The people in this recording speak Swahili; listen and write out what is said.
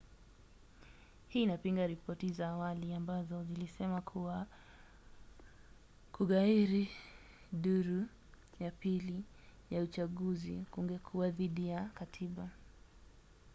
hii inapinga ripoti za awali ambazo zilisema kuwa kughairi duru ya pili ya uchaguzi kungekuwa dhidi ya katiba